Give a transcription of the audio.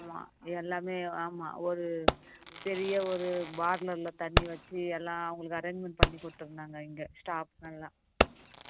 ஆமா எல்லாமே ஆமா ஒரு பெரிய ஒரு தண்ணி வச்சு எல்லாம் அவங்களுக்கு arrangement பண்ணி கொடுத்து இருந்தாங்க இங்க staff நல்லா